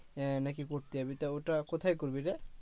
আহ নাকি ঘুরতে যাবি তা ওটা কোথায় করবি রে?